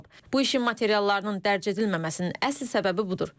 Bu işin materiallarının dərc edilməməsinin əsl səbəbi budur.